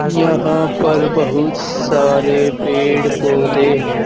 यहां पर बहुत सारे पेड़ पौधे हैं।